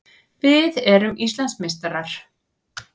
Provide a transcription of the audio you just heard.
Við erum Íslandsmeistarar!